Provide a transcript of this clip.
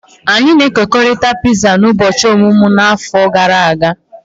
Anyị na-ekekọrịta piza n'ụbọchị ọmụmụ m n'afọ gara aga.